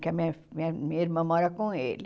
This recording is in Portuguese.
Que a minha minha minha irmã mora com ele.